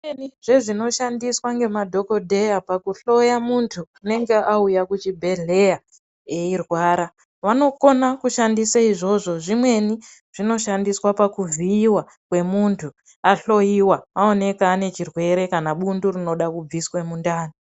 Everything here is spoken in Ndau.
Zvimweni zvezvinoshandiswa ngemadhokodheya pakuhloya muntu anenge uya kuchibhedhleya eirwara vanokona kushandisa izvozvo zvimweni zvinoshandiswa pakuvhiiwa kwemuntu ahloyiwa aonekwa anechirwere kana bundu rinenge reida kubviswa mundani.